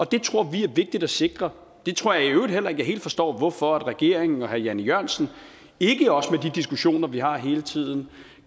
det tror vi er vigtigt at sikre jeg tror i øvrigt heller ikke at jeg helt forstår hvorfor regeringen og herre jan e jørgensen ikke også med de diskussioner som vi har hele tiden